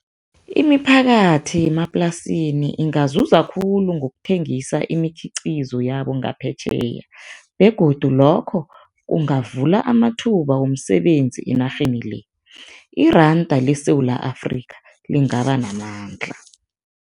Imiphakathi yemaplasini ingazuza khulu ngokuthengisa imikhiqizo yabo ngaphetjheya begodu lokho kungavula amathuba womsebenzi enarheni le, iranda leSewula Afrika lingaba namandla.